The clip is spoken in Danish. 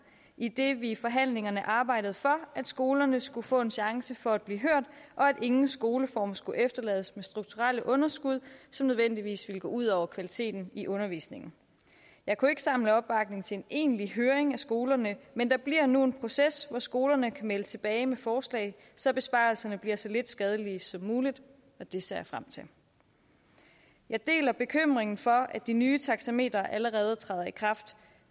idet vi i forhandlingerne arbejdede for at skolerne skulle få en chance for at blive hørt og at ingen skoleform skulle efterlades med strukturelle underskud som nødvendigvis ville gå ud over kvaliteten i undervisningen jeg kunne ikke samle opbakning til en egentlig høring af skolerne men der bliver nu en proces hvor skolerne kan melde tilbage med forslag så besparelserne bliver så lidt skadelige som muligt og det ser jeg frem til jeg deler bekymringen for at de nye taxametre allerede træder i kraft